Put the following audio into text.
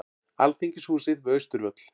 Alþingishúsið við Austurvöll.